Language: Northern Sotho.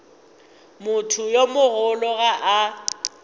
motho yo mogolo ga a